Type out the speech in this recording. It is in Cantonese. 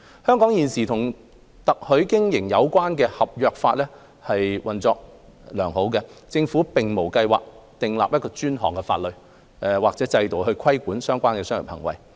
香港現時與特許經營有關的合約法運作良好，政府並無計劃訂定專項法例或制度規管相關的商業行為。